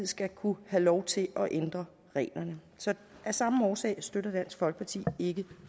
skal kunne have lov til at ændre reglerne så af samme årsag støtter dansk folkeparti ikke